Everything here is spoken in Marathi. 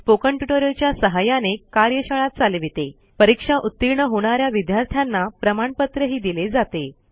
Spoken ट्युटोरियल च्या सहाय्याने कार्यशाळा चालवितेपरीक्षा उतीर्ण होणा या विद्यार्थ्यांना प्रमाणपत्रही दिले जाते